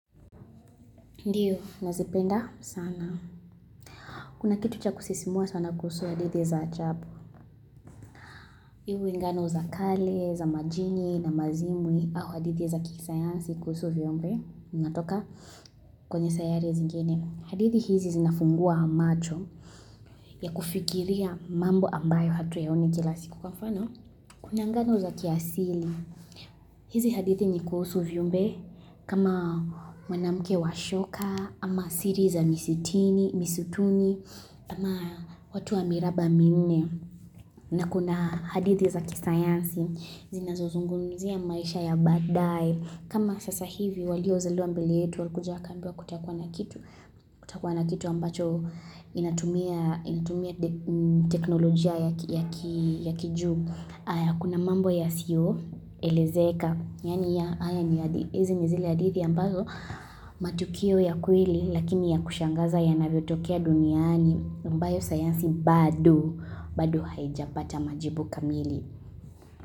Ndiyo, nazipenda sana. Kuna kitu cha kusisimua sana kuhusu hadithi za ajabu Iwe ngano za kale, za majini na mazimwi au hadithi za kisayansi kuhusu viumbe. Natoka kwenye sayari zingine. Hadithi hizi zinafungua macho ya kufikiria mambo ambayo hatuyaoni kila siku kwa mfano. Kuna nganu za kiasili. Hizi hadithi ni kuhusu viumbe kama mwanamke wa shoka ama siri za misitini, misutuni ama watu wa miraba minne na kuna hadithi za kisayansi zinazozungumzia maisha ya badaaye kama sasa hivi waliozaliwa mbele yetu, walikuja wakaambiwa kutakuwa na kitu, kutakuwa na kitu ambacho inatumia teknolojia ya kijuu. Kuna mambo yasiyoelezeka, yaani hizi ni zile hadithi ambazo, matukio ya kweli, lakini yakushangaza yanavyotokea duniani, ambayo sayansi bado, bado haijapata majibu kamili.